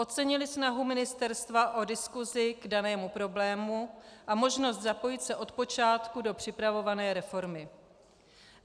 Ocenili snahu ministerstva o diskusi k danému problému a možnost zapojit se od počátku do připravované reformy.